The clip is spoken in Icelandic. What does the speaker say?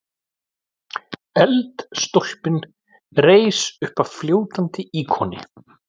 Eldstólpinn reis uppaf fljótandi íkoni.